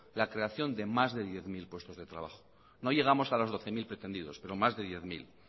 la creación de más de diez mil puestos de trabajo no llegamos a los doce mil pretendidos pero más de diez mil